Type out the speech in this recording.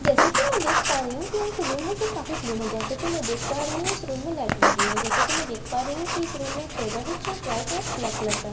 जैसे कि मैं देख पा रही हूं कि यह एक रूम है जो काफी क्लीन है जैसा कि मैं देख पा रही हूं इस रूम में लाइट लगी है जैसा कि मैं देख पा रही हूं इस रूम में एक टेबल है जो व्हाइट और ब्लैक कलर का है जै--